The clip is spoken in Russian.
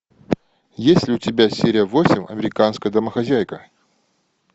есть ли у тебя серия восемь американская домохозяйка